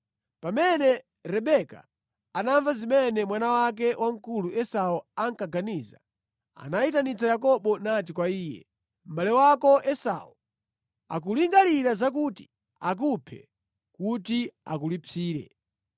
Pamene Rebeka anamva zimene mwana wake wamkulu Esau ankaganiza, anayitanitsa Yakobo nati kwa iye, “Mʼbale wako Esau akulingalira zakuti akuphe kuti akulipsire.